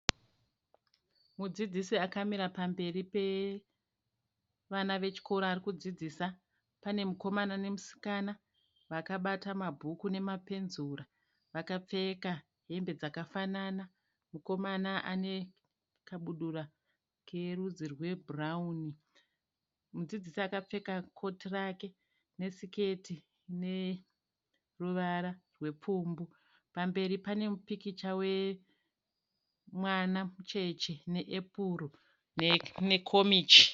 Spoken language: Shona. Mudzidzisi akamira pamberi pevana vechikoro ari kudzidzisa pane mukomana nemusikana vakabata mabhuku nemapenzura vakapfeka hembe dzakafanana mukomana ane kabudura kerudzi rwebhurawuni mudzidzisi akapfeka koti rake nesiketi ine ruvara rwepfumbu pamberi pane mupikicha wemwana mucheche neepuru nekomichi.